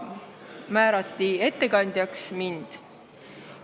Ettekandjaks määrati mind.